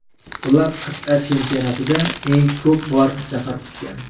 Ular qit’a chempionatida eng ko‘p bor zafar quchgan.